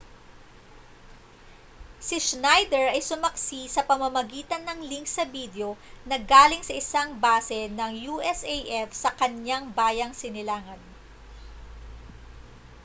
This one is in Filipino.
si schneider ay sumaksi sa pamamagitan ng link sa bidyo na galing sa isang base ng usaf sa kaniyang bayang sinilangan